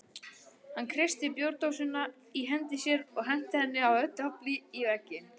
Hann kreisti bjórdósina í hendi sér og henti henni af öllu afli í vegginn.